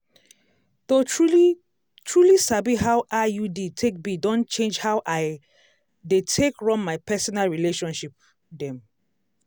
to truly truly sabi how iud take be don change how i dey take all my personal relationship dem